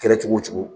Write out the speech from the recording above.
Kɛra cogo o cogo